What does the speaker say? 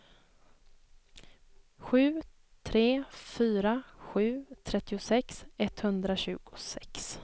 sju tre fyra sju trettiosex etthundratjugosex